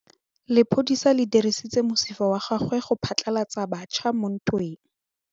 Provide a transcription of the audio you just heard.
Lepodisa le dirisitse mosifa wa gagwe go phatlalatsa batšha mo ntweng.